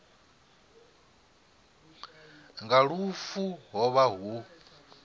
nga lufu ho vha hu